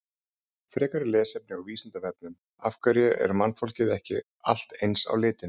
Frekara lesefni á Vísindavefnum: Af hverju er mannfólkið ekki allt eins á litinn?